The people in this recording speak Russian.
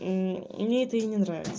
мм мне это и не нравится